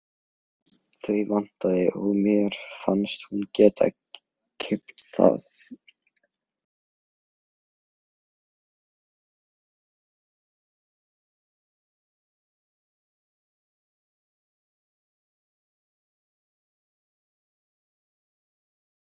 Allar áætlanir um tíma og kostnað fóru strax úr böndum.